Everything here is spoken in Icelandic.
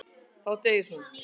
Þá deyr hún.